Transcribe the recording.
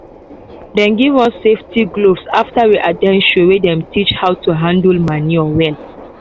dem give us safety gloves after we at ten d show wey dem teach how to handle manure well.